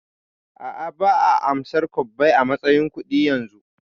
A'a, ba'a amsar kwabbai a matsayin kudi yanzu